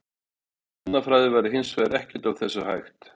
Án efnafræði væri hins vegar ekkert af þessu hægt.